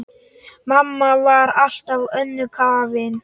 Mamma var alltaf önnum kafin.